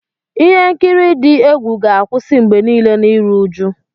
Ihe nkiri dị egwu ga-akwụsị mgbe niile na iru uju.